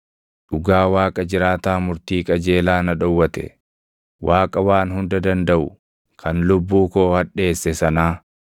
“Dhugaa Waaqa jiraataa murtii qajeelaa na dhowwate, Waaqa Waan Hunda Dandaʼu kan lubbuu koo hadheesse sanaa,